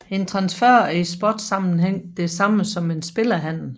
En transfer er i sportssammenhæng det samme som en spillerhandel